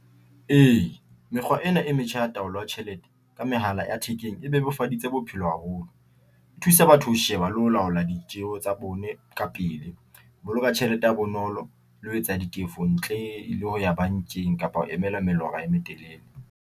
E, mekgwa ena e metjha ya taolo ya tjhelete ka mehala ya thekeng e bebofaditse bophelo haholo.E thusa batho ho sheba le ho laola ditjeho tsa bone ka pele. E boloka tjhelete ha bonolo le ho etsa ditefo ntle le ho ya bankeng, kapa ho emela melora e metelele.